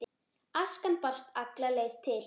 Askan barst alla leið til